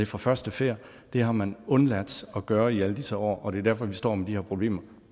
fra første færd det har man undladt at gøre i alle disse år og det er derfor vi står med de her problemer